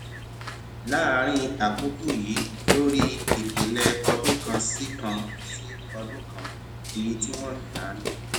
láàárín àkókò yìí lórí ìpìlẹ ọdún kan sí kan sí ọdún kan iye tí wọn ń tà ní